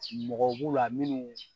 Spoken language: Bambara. mɔgɔw b'u la minnu